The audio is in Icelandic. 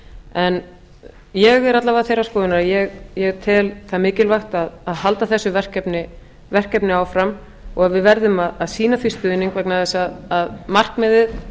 en ég er alla vega þeirrar skoðunar að ég tel mikilvægt að halda þessu verkefni áfram og við verðum að sýna því stuðning vegna þess að markmiðið